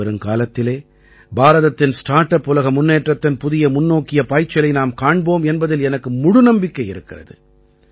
இனிவருங்காலத்திலே பாரதத்தின் start up உலக முன்னேற்றத்தின் புதிய முன்னோக்கிய பாய்ச்சலை நாம் காண்போம் என்பதில் எனக்கு முழு நம்பிக்கை இருக்கிறது